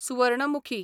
Suvarnamukhi